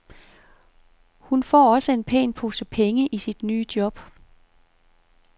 Hun får også en pæn pose penge i sit nye job.